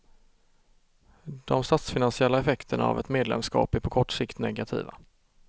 De statsfinansiella effekterna av ett medlemskap är på kort sikt negativa.